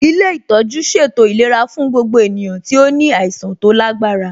Ilé ìtọ́jú ṣètò ìlera fún gbogbo ènìyàn tí ó ní àìsàn tó lágbára